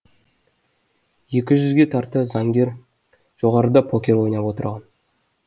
екі жүзге тарта заңгер жоғарыда покер ойнап отырған